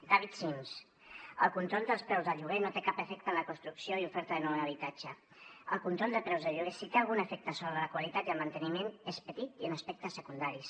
david sims el control dels preus del lloguer no té cap efecte en la construcció i oferta de nou habitatge el control de preus de lloguer si té algun efecte sobre la qualitat i el manteniment és petit i en aspectes secundaris